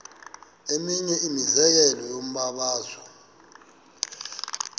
eminye imizekelo yombabazo